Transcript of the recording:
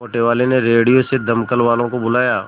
मोटेवाले ने रेडियो से दमकल वालों को बुलाया